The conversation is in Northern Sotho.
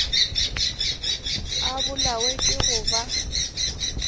a bolawe ke go ba